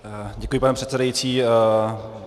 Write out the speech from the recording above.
Děkuji, pane předsedající.